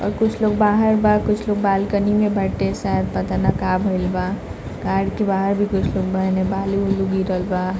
और कुछ लोग बाहर बा कुछ लोग बालकनी में बाटे शायद पता ना का भइल बा कार के बाहर भी कुछ लोग बा एने बालू-उलू गिरल बा।